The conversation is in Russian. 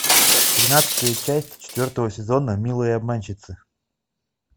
тринадцатая часть четвертого сезона милые обманщицы